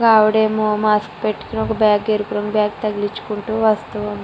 ఒక ఆవిడేమో మాస్క్ పెట్టుకొని ఒక బ్యాగ్ ఎరుపు రంగు బ్యాగ్ తగిలించుకుంటూ వస్తు ఉ --